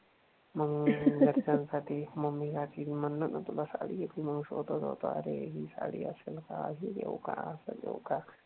मग घरच्यासाठी मम्मीसाठी मी म्हणाल ना तुला साडी घेतली मग स्वतः स्वतः ही साडी असेल का हे घेऊ का असं घेऊ का?